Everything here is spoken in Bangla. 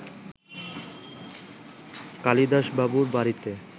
কালিদাসবাবুর বাড়িতে